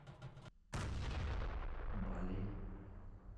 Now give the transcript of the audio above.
балей